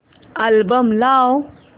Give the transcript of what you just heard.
album लाव